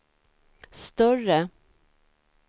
större